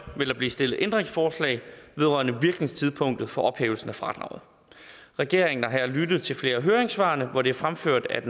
vil der blive stillet ændringsforslag vedrørende virkningstidspunkt for ophævelsen af fradraget regeringen har her lyttet til flere af høringssvarene hvor det er fremført at